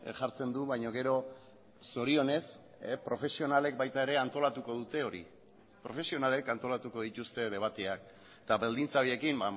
jartzen du baina gero zorionez profesionalek baita ere antolatuko dute hori profesionalek antolatuko dituzte debateak eta baldintza horiekin